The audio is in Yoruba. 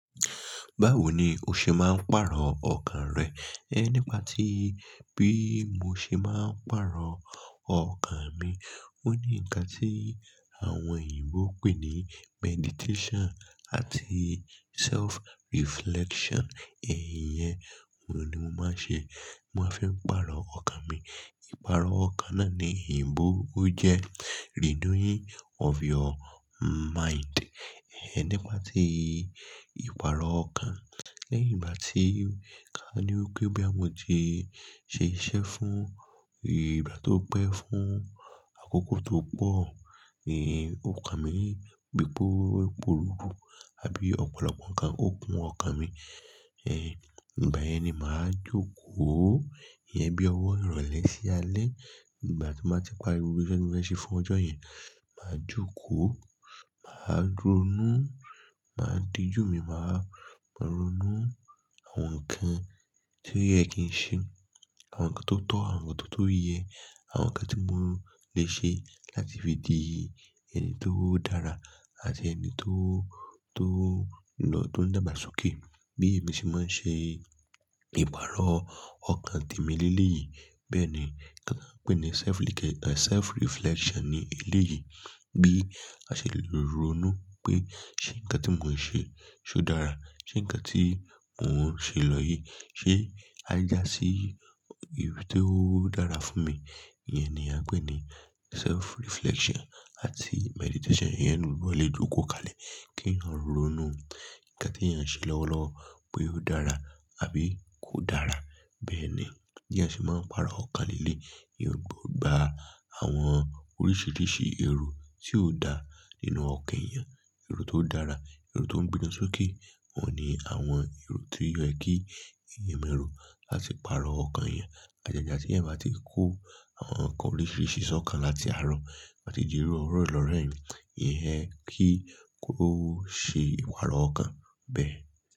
Báwo ni o ṣe máa ń pàrọ̀ ọkàn rẹ? Ẹ nípa ti bí mo ṣe máa ń pàrọ̀ ọkàn mi. Ó ní ǹkan tí àwọn òyìnbó ń pè ní meditation àti self-reflection. Ẹ̀yin yẹn, òun ni mo máa ń ṣe. Mo máa fi ń pàrọ̀ ọkàn mi. Ìpàrọ̀ ọkàn náà ní òyìnbó ó jẹ́ renewing of your mind. Ẹ nípa tí ìpàrọ̀ ọkàn. Lẹ́yìn ìgbà tí ká ní wípé bí a mo ti ṣe iṣẹ́ fún ìgbà tó pẹ́ fún àkókò tó pọ̀, èyí, ọkàn mi gbé gbó pòruru àbí ọ̀pọ̀lọpọ̀ nǹkan ó kun ọkàn mi. Ẹ nígbà yẹn ni màá jókòó. Ìyẹn bí ọwọ́ ìrọ̀lẹ́ sí alẹ́. Nígbà tí mo ti parí gbogbo iṣẹ́ tí mo fẹ́ ṣe fún ọjọ́ yẹn, màá jókòó, màá ronú, màá dijú mi, màá ronú àwọn nǹkan tí ọ́yẹ kì í ṣe, àwọn nǹkan tó tọ́, àwọn nǹkan tó yẹ, àwọn nǹkan tí mò lè ṣe láti fi di ẹni tó dára àti ẹni tó, tó lọ́dún dàgbà sókè. Bí èmi ṣe máa ń ṣe ìpàrọ̀ ọkàn tèmi nílé yìí, bẹ́ẹ̀ ni kí n pè é ní self-like, self-reflection ní ilé yìí. Bí a ṣe lè ronú pé ṣé ǹkan tí mò ń ṣe, ṣé ó dára? Ṣé ǹkan tí mò ń ṣe lọ yìí, ṣé a já sí ibi tí ó dára fún mi? Ìyẹn ni a ń pè ní self-reflection àti meditation. Ìyẹn ni gbogbo ọlẹ jókòó kalẹ̀ kí wọ́n ronú. Ǹkan tí èèyàn ṣe lọ́wọ́lọ́wọ́ pé ó dára àbí kò dára. Bẹ́ẹ̀ ni bí èèyàn ṣe máa ń pàrọ̀ ọkà nílé. Ìyẹn gbo, gba àwọn oríṣìíríṣìí èrò tí ó dà nínú ọkàn èèyàn. Èrò tó dára, èrò tó ń gbéni sókè, òun ni àwọn èrò tí yẹ kí èèyàn mọ̀ ẹrù láti pàrọ̀ ọkàn èèyàn. Ǹjẹ́ nígbà tí ẹ bá ti kó àwọn nǹkan oríṣìíríṣìí sọ́kàn láti àárọ̀, bá ti di rú ọ̀rọ̀ Ìlọ̀rẹ̀ẹ́ni, ìyẹn kì í kó ṣe ìpàrọ̀ ọkàn bẹ́ẹ̀.